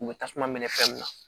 U bɛ tasuma minɛ fɛn min na